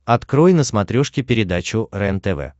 открой на смотрешке передачу рентв